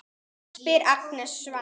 spyr Agnes Svenna.